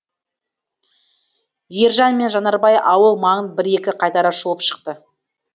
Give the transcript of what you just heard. ержан мен жанарбай ауыл маңын бір екі қайтара шолып шықты